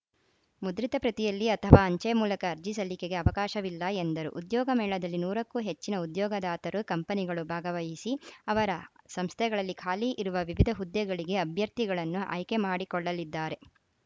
ಮುದ್ರಿತ ಪ್ರತಿಯಲ್ಲಿ ಅಥವಾ ಅಂಚೆ ಮೂಲಕ ಅರ್ಜಿ ಸಲ್ಲಿಕೆಗೆ ಅವಕಾಶವಿಲ್ಲ ಎಂದರು ಉದ್ಯೋಗ ಮೇಳದಲ್ಲಿ ನೂರ ಕ್ಕೂ ಹೆಚ್ಚಿನ ಉದ್ಯೊಗದಾತರು ಕಂಪನಿಗಳು ಭಾಗವಹಿಸಿ ಅವರ ಸಂಸ್ಥೆಗಳಲ್ಲಿ ಖಾಲಿ ಇರುವ ವಿವಿಧ ಹುದ್ದೆಗಳಿಗೆ ಅಭ್ಯರ್ಥಿಗಳನ್ನು ಆಯ್ಕೆ ಮಾಡಿಕೊಳ್ಳಲಿದ್ದಾರೆ